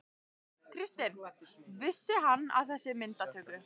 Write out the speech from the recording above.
Kristinn: Vissi hann af þessi myndatöku?